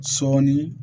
Sɔɔni